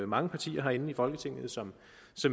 mange partier herinde i folketinget som